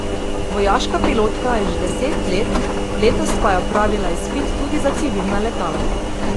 Vojaška pilotka je že deset let, letos pa je opravila izpit tudi za civilna letala.